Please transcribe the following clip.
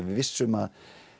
við vissum að